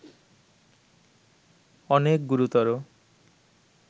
অনেক গুরুতর